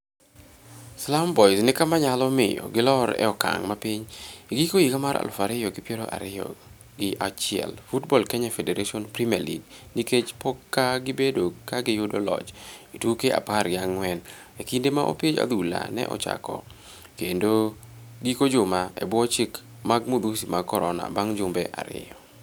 Slum Boys ni kama nyalo miyo golor e okang' mapiny e giko higa mar aluf ariyo gi piero ariyo gi achiel Football Kenya Federation Premier League nikech pok ka gibedo ka giyodo loch e tuke apar gi ang'wen e kinde ma opich adhula ne ochako kendo e giko juma e bwo chike mag madhusi mag Corona bang' jumbe ariyo.